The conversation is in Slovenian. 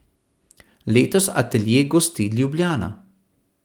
Letos atelje gosti Ljubljana.